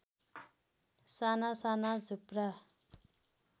साना साना झुप्रा